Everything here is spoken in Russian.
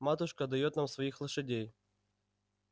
матушка даёт нам своих лошадей